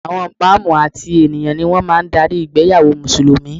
Àwọn Imam àti ènìyàn ni wọ́n máa ń darí ìgbéyàwó Mùsùlùmí